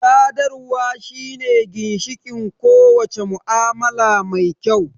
Sadarwa shine ginshiƙin ko wace mu'amala mai kyau